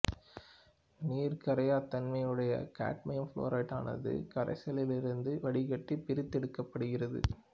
நீரில் கரையாத தன்மையையுடைய காட்மியம் புளோரைடானது கரைசலிலிருந்து வடிகட்டி பிரித்தெடுக்கப்படுகிறது